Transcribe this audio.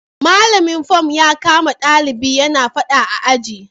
Malamin fom ya kama dalibin yana fada a aji